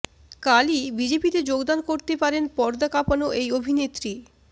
কালই বিজেপিতে যোগদান করতে পারেন পর্দা কাঁপানো এই অভিনেত্রী